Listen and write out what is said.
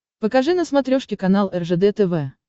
покажи на смотрешке канал ржд тв